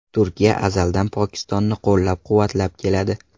Turkiya azaldan Pokistonni qo‘llab-quvvatlab keladi.